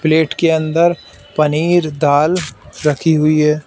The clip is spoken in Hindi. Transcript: प्लेट के अंदर पनीर दाल रखी हुई है।